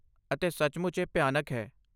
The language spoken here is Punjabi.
ਅਤੇ ਸੱਚਮੁੱਚ ਇਹ ਭਿਆਨਕ ਹੈ।